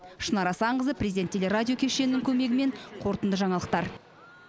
шынар асанқызы президент телерадио кешенінің көмегімен қорытынды жаңалықтар